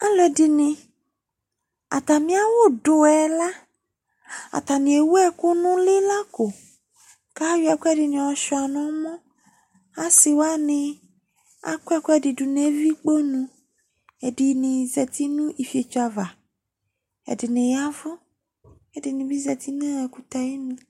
Alʋɛdɩnɩ, atamɩ awʋdʋ yɛ la, atanɩ ewu ɛkʋ nʋ ʋlɩ la ko kʋ ayɔ ɛkʋɛdɩnɩ yɔsʋɩa nʋ ɔmɔ Asɩ wanɩ akɔ ɛkʋɛdɩ dʋ nʋ evikponu Ɛdɩnɩ zati nʋ ifietso ava Ɛdɩnɩ ya ɛvʋ kʋ ɛdɩnɩ zati nʋ ɛkʋtɛ ayinu